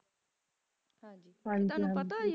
ਹਾਂਜੀ ਹਾਂਜੀ ਤਨੁ ਪਤਾ